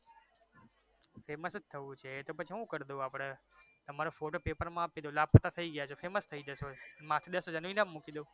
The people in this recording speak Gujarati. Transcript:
famous જ થવુ છે તો પછી હુ કરી દવ આપડે તમારો photo paper માં આપી દવ લાપતા થઈ ગયા છો famous થઈ જશો માથે દસ હજારનું ઈનામ મુકી દેહુ